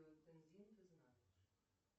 ты знаешь